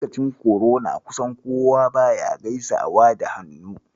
Lokacin korona, kusan kowa baya gaisawa da hannu.